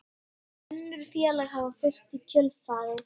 Önnur félög hafa fylgt í kjölfarið